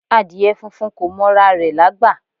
Adìẹ funfun kò mọ ra rè lágbà